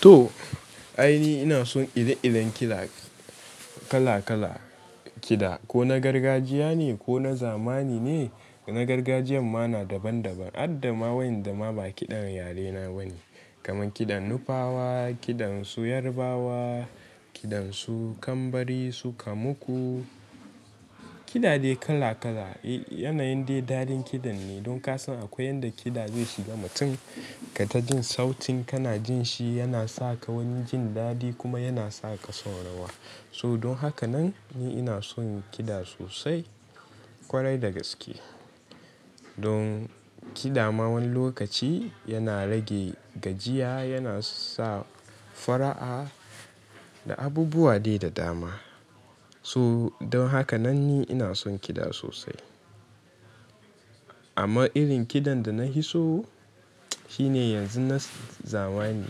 To ai ni ina son ire-iren kiɗa kala kalar kiɗa ko na gargajiya ne ko na zamani ne. Na gargajiyan ma daban daban. Harda ma waƴanda ma ba kiɗan yare na bane. Kamar kiɗan Nufawa, kiɗan su Yarabawa, kiɗan su Kambari, su Kamuku kiɗa dai kala kala. Yanayin dai daɗin kiɗan ne. Don kasan akwai yanda kiɗa zai shiga mutum ka ta jin sautin kana jin shi yana sa ka wani jin daɗi kuma yana sa ka son rawa. So don haka nan ni ina son kiɗa sosai kwarai da gaske. Don kiɗa ma wani lokaci yana rage gajiya, yana sa fara'a da abubuwa dai da dama. So don haka nan ni ina son kiɗa sosai. Amma irin kiɗan da nafiso shi ne yanzu na zamani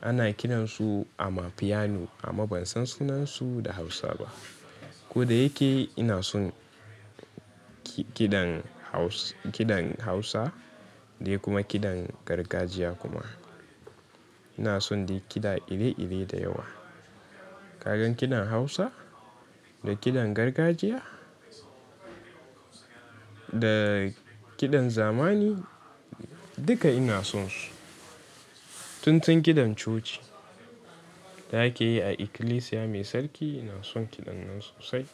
ana kiran su amapiano amma ban san sunansu da Hausa ba. Ko da yake ina son kiɗan Hausa da kuma kiɗan gargajiya kuma. Ina son dai kiɗa ire-ire da yawa. Kamar kiɗan Hausa da kiɗan gargajiya da kiɗan zamani duka ina son su. Tun tun kiɗan coci da ake yi a ikilisiya mai sarki ina son kiɗan nan sosai.